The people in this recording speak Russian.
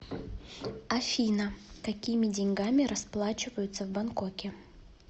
афина какими деньгами расплачиваются в бангкоке